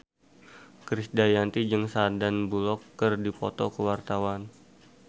Krisdayanti jeung Sandar Bullock keur dipoto ku wartawan